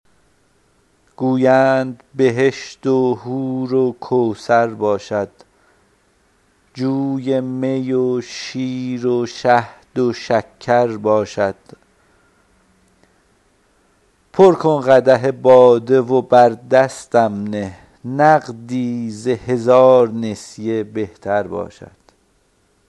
گویند بهشت و حور و کوثر باشد جوی می و شیر و شهد و شکر باشد پر کن قدح باده و بر دستم نه نقدی ز هزار نسیه بهتر باشد